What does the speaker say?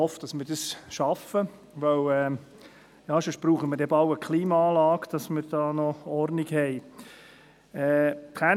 Ich hoffe, dass wir das schaffen, weil wir sonst bald eine Klimaanlage brauchen, damit wir noch Ordnung haben.